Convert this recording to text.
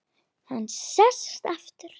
Hann sest aftur.